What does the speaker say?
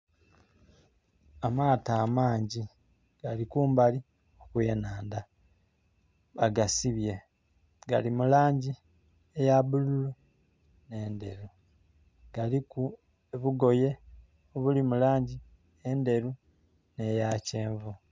Amaato amangi gali kumbali kw'enandha, bagasibye. Gali mu langi eya bululu ne ndheru galiku obugoye obuli mu langi endheru ne ya kyenvu.